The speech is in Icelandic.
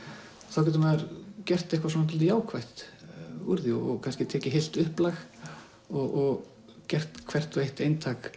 þá getur maður gert eitthvað jákvætt úr því og kannski tekið heilt upplag og gert hvert og eitt eintak